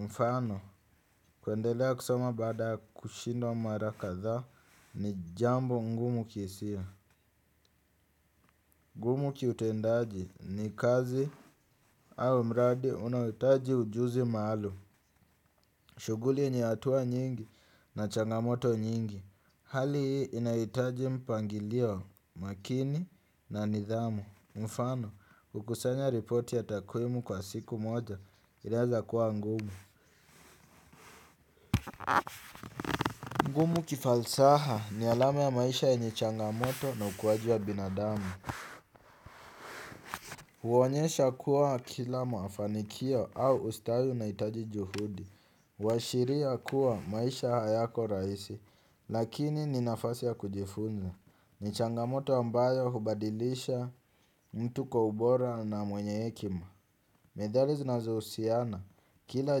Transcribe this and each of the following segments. mfano, kuendelea kusoma baada ya kushindwa mara kadhaa ni jambo ngumu kihisia. Ngumu kiutendaji ni kazi au mradi unaohitaji ujuzi maalum. Shughuli ni hatua nyingi na changamoto nyingi. Hali hii inahitaji mpangilio makini na nidhamu. Mfano, kukusanya ripoti ya takwimu kwa siku moja inawezakuwa ngumu. Ngumu kifalsaha ni alama ya maisha yenye changamoto na ukuaji wa binadamu. Huonyesha kuwa kila mafanikio au ustawi unahitaji juhudi. Huashiria kuwa maisha hayako rahisi lakini ni nafasi ya kujifunza. Ni changamoto ambayo hubadilisha mtu kwa ubora na mwenye hekima. Methali zinazohusiana kila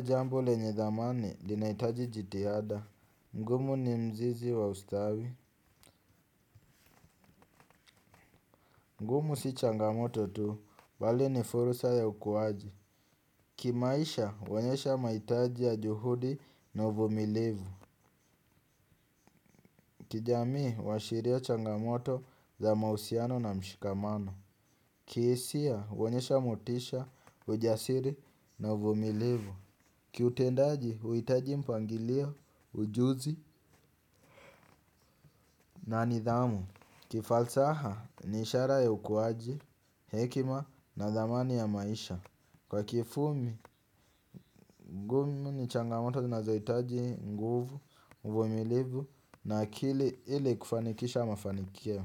jambo lenye thamani linahitaji jitihada. Ngumu ni mzizi wa ustawi. Ngumu si changamoto tu, bali ni fursa ya ukuaji. Kimaisha, hunyesha mahitaji ya juhudi na uvumilivu. Kijamii, huashiria changamoto za mahusiano na mshikamano. Kihisia, huonyesha motisha, ujasiri na uvumilivu. Kiutendaji, huitaji mpangilio, ujuzi na nidhamu. Kifalsaha, ni ishara ya ukuaji, hekima na thamani ya maisha. Kwa kifupi, ngumu ni changamoto zinazohitaji nguvu, uvumilivu na akili ili kufanikisha mafanikio.